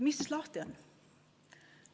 Mis siis lahti?